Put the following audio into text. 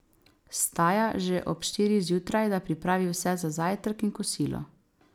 Vstaja že ob štirih zjutraj, da pripravi vse za zajtrk in kosilo.